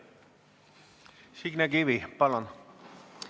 Signe Kivi, palun!